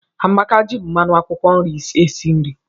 Amaka ji mmanụ akwụkwọ nri esi nri